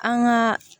An ŋaa